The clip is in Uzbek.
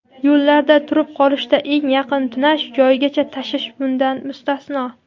yo‘llarda turib qolishda eng yaqin tunash joyigacha tashish bundan mustasno.